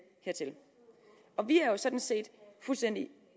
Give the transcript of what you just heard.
hertil vi er jo sådan set fuldstændig